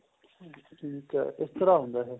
ਠੀਕ ਏ ਇਸ ਤਰ੍ਹਾਂ ਹੁੰਦਾ ਇਹ